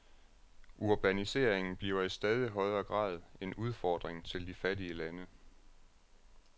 Urbaniseringen bliver i stadig højere grad en udfordring til de fattige lande.